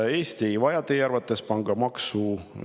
Kas Eesti ei vaja teie arvates pangamaksu?